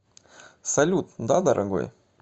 салют да дорогой